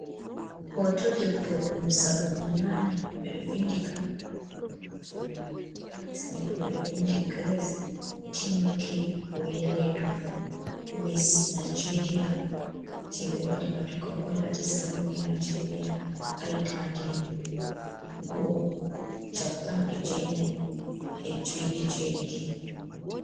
Hoto debbo ɗum zamanu naane, ɓe ɗo vinɗi. Kano haa doo hoto maajum,, haa les mai ɓe ɗo vindi, Grace Tinuke Oyelude. Miss Nijeriya je ɓe waɗii, waato kanko laati sarauniya Nijeriya Haa hitaande shappan e jeenai e joi, e jeeɗiɗi.